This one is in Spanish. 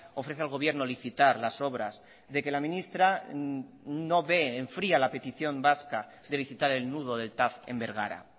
ofrece al gobierno licitar las obras de que la ministra no ve enfría la petición vasca de licitar el nudo del tav en bergara